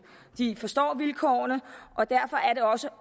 de forstår vilkårene og derfor er det også